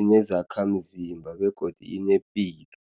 inezakhamzimba, begodu inepilo.